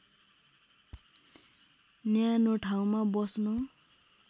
न्यानो ठाउँमा बस्न